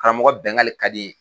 Karamɔgɔ Bɛngali ka di e ye